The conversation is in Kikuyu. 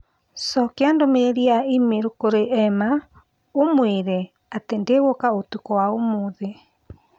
Cokia ndũmĩrĩri ya i-mīrū kũrĩ Emma ũmũĩre atĩ ndingũka ũtukũ wa ũmũthĩ